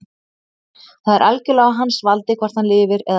Það er algjörlega á hans valdi hvort hann lifir eða deyr.